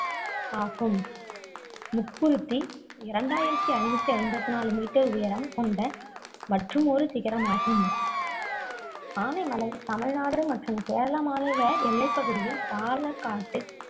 ஆகும் முக்குருத்தி இரண்டாயிரத்தி ஐந்நூத்தி ஐம்பது நாலு meter உயரம் கொண்ட மற்றுமொறு சிகரமாகும் ஆனைமலை தமிழ்நாடு மற்றும் கேரள மாநில எல்லைப்பகுதியில் பாலக்காட்டு